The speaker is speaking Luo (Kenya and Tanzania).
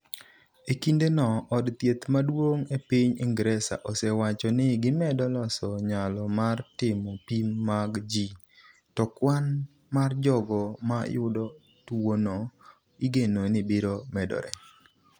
E kinde no, od thieth maduong’ e piny Ingresa osewacho ni gimedo loso nyalo mar timo pim mag ji, to kwan mar jogo ma yudo tuwono igeno ni biro medore.